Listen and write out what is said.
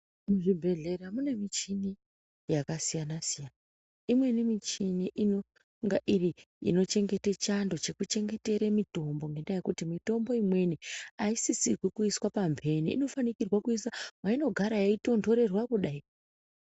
Kuzvi bhedhleya kune michini yaka siyana siyana imweni michini inonga iri inochengete chando cheku chengetera mitombo ngendaa yekuti mitombo imweni aisisirwi kuiswa pa mbene inofanikirwa kuiswa paino gara yei tondorerwa kudai.